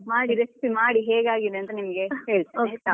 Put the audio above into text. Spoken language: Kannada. ಮಾಡಿ recipe ಮಾಡಿ ಹೇಗೆ ಆಗಿದೆ ಅಂತ ನಿಮಿಗೆ ಹೇಳ್ತೇನೆ ಆಯ್ತಾ.